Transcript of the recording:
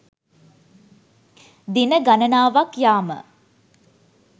දින ගණනාවක් යාම